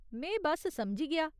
में बस्स समझी गेआ।